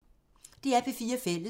DR P4 Fælles